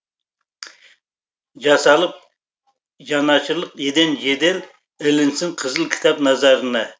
жасалып жанашырлық еден жедел ілінсін қызыл кітап назарына